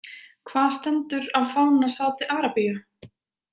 Hvað stendur á fána Saudi- Arabíu ?